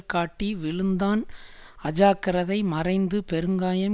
காட்டி விழுந்தான் அஜாக்கிரதை மறைந்து பெருங்காயம்